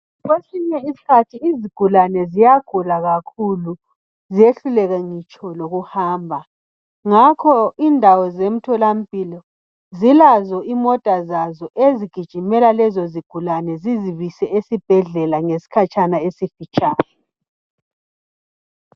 Kwesinye isikhathi izigulane ziyagula kakhulu ziyehluleke ngitsho lokuhamba ,ngakho indawo zemtholampilo zilazo imota zazo ezigijimela lezo zigulane zizibise esibhedlela ngesikhatshana esifitshane